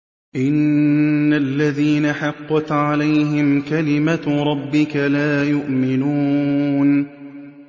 إِنَّ الَّذِينَ حَقَّتْ عَلَيْهِمْ كَلِمَتُ رَبِّكَ لَا يُؤْمِنُونَ